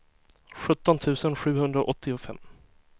sjutton tusen sjuhundraåttiofem